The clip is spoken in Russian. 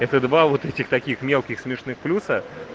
это два вот этих таких мелких смешных плюса